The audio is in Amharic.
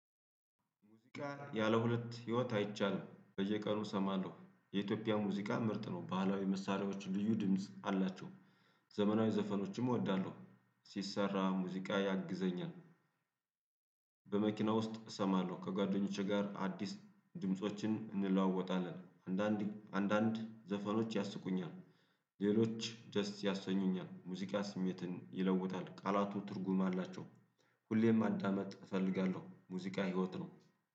ያለሁለት ህይወት አይቻልም በየቀኑ እሰማለሁ የኢትዮጵያ ሙዚቃ ምርጥ ነው። ባህላዊ መሳሪያዎች ልዩ ድምጽ አላቸው። ዘመናዊ ዘፈኖችም እወዳለሁ። ሲሰራ ሙዚቃ ያግዘኛል። በመኪና ውስጥ እሰማለሁ ከጓደኞቼ ጋር አዲስ ድምፆችን እንለዋወጣለን። አንዳንዴ አንዳንድ ዘፈኖች ያስቁኛል። ሌሎች ደስ ያሰኙኛል። ሙዚቃ ስሜትን ይለውጣል። ቃላቱ ትርጉም አላቸው። ሁሌ ማዳመጥ እፈልጋለሁ ሙዚቃ ህይወት ነው